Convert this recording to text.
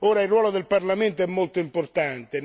Ora, il ruolo del Parlamento è molto importante.